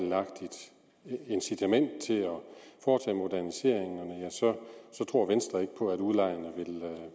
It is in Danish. incitament til at foretage moderniseringer tror venstre ikke på at udlejerne